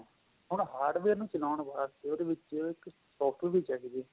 ਹੁਣ hardware ਨੂੰ ਚਲਾਉਣ ਵਾਸਤੇ ਉਹਦੇ ਵਿੱਚ ਇੱਕ software ਵੀ ਚਾਹੀਦਾ ਏ